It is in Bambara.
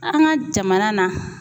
An ŋa jamana na